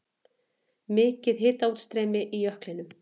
Mikið hitaútstreymi í jöklinum